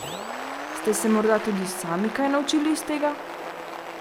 Ste se morda tudi sami kaj naučili iz tega?